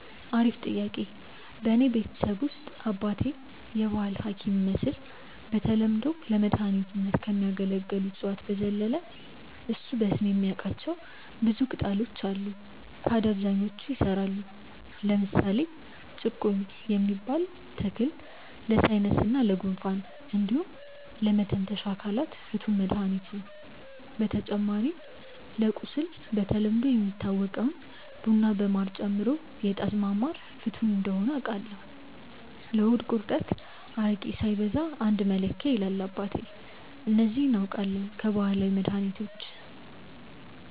አሪፍ ጥያቄ፣ በእኔ ቤተሰብ ውስጥ አባቴ የባህል ሀኪም ይመስል በተለምዶ ለመድኃኒትነት ከሚያገለግሉ እፅዋት በዘለለ እሱ በስም የሚያቃቸው ብዙ ቅጣሎች አሉ ታድያ አብዛኞቹ ይሰራሉ። ለምሳሌ ጭቁኝ የሚባል ተክል ለሳይነስ እና ጉንፋን እንዲሁም ለመተንፈሻ አካላት ፍቱን መድሀኒት ነው። በተጨማሪ ለቁስል በተለምዶ የሚታወቀውን ቡና በማር ጨምሮ የጣዝማ ማር ፍቱን እንደሆነ አውቃለው። ለሆድ ቁርጠት አረቄ ሳይበዛ አንድ መለኪያ ይላል አባቴ። እነዚህ አውቃለው ከባህላዊ መድሀኒቶች።